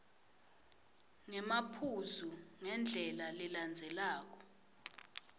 ngemaphuzu ngendlela lelandzelelako